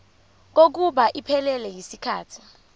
kokuba iphelele yisikhathi